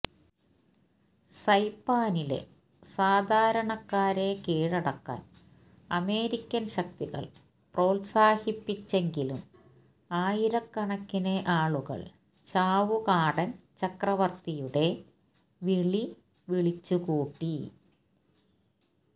സൈപാനിലെ സാധാരണക്കാരെ കീഴടക്കാൻ അമേരിക്കൻ ശക്തികൾ പ്രോത്സാഹിപ്പിച്ചെങ്കിലും ആയിരക്കണക്കിന് ആളുകൾ ചാവുകടാൻ ചക്രവർത്തിയുടെ വിളി വിളിച്ചുകൂട്ടി